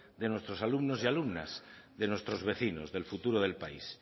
de nuestros alumnos y alumnas de nuestros vecinos del futuro del país